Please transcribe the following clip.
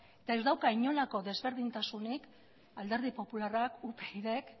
eta ez dauka inolako desberdintasunik alderdi popularrak upydk